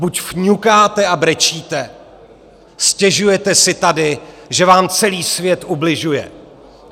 Buď fňukáte a brečíte, stěžujete si tady, že vám celý svět ubližuje.